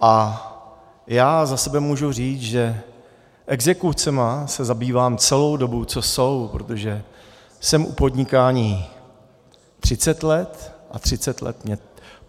A já za sebe můžu říct, že exekucemi se zabývám celou dobu, co jsou, protože jsem u podnikání 30 let, a 30 let mě